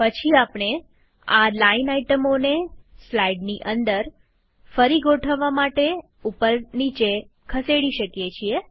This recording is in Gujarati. પછી આપણે આ લાઈન આઈટમોને સ્લાઈડની અંદર ફરી ગોઠવવા માટે ઉપર નીચે ખસેડી શકીએ